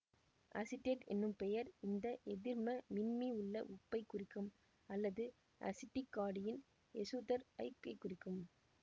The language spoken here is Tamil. அசிட்டேட் ஏன்னும் பெயர் இந்த எதிர்ம மின்மி உள்ள உப்பைக் குறிக்கும் அல்லது அசிட்டிக் காடியின் எசுத்தர் ஐக் குறிக்கும்